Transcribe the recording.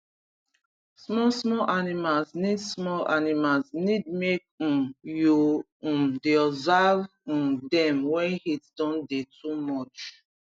small small animals need small animals need make um you um dey observe um dem wen heat don dey too much